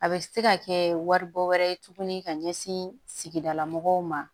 A bɛ se ka kɛ waribɔ wɛrɛ ye tuguni ka ɲɛsin sigidala mɔgɔw ma